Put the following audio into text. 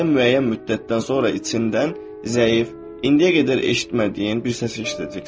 Beləcə müəyyən müddətdən sonra içindən zəif, indiyə qədər eşitmədiyin bir səsi eşidəcəksən.